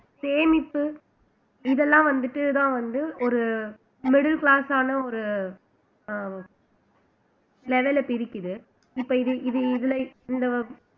சேமிப்பு இதெல்லாம் வந்துட்டுதான் வந்து ஒரு middle class ஆன ஒரு அஹ் level அ பிரிக்குது இப்ப இது இது இதுல இந்த